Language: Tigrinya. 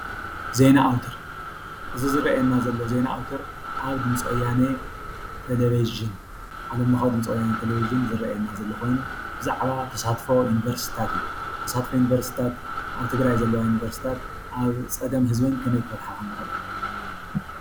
ዜና ኣወታር፦ እዚ ዝረኣየና ዘሎ ዜና ኣወታር ኣብ ድምፂ ወያነ ቴሌቭዠን ዓለም ለኻዊ ድምፂ ወያነ ቴሌቭዥን ዝረኣየና ዘሎ ኮይኑ ብዛዕባ ተሳትፎ ዩኒቨርስቲታት እዩ። ተሳትፎ ዩኒቨርስቲታት ኣብ ትግራይ ዘለዋ ዩኒቨርስቲታት ኣብ ፀገም ህዝበን ከመይ ክፈትሓ ከምዝኽእላ።